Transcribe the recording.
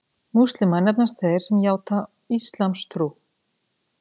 Múslímar nefnast þeir sem játa íslamstrú.